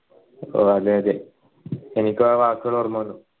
അതെ അതെ എനിക്കും ആ വാക്കുകൾ ഓർമ വന്നു